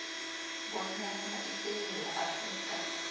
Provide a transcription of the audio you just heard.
bonyana isewula afrika